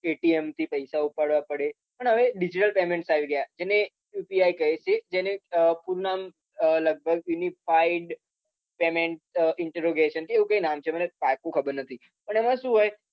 થી પૈસા ઉપાડવા પડે પણ હવે digital payment આવી ગયા અને UPI કહે છે જેને લગભગ fillpaind payment introgasion એવું કાઈ નામ છેમને પાકું ખબર નથી